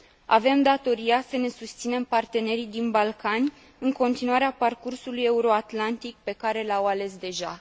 Avem datoria să ne susținem partenerii din Balcani în continuarea parcursului euroatlantic pe care l au ales deja.